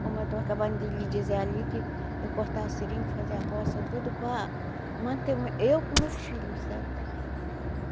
Como eu estou acabando de lhe dizer ali que eu cortava seringue, fazia roça, tudo para manter eu com meus filhos, sabe?